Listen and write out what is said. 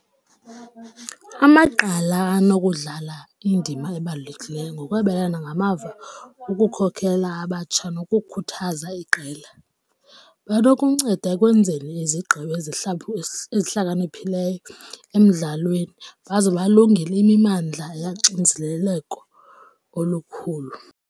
Amagqala anokudlala indima ebalulekileyo ngokwabelana ngamava ukukhokela abatsha nokukhuthaza iqela. Banokunceda ekwenzeni izigqibo ezihlakaniphileyo emdlalweni baze balungele imimandla yoxinezeleko olukhulu.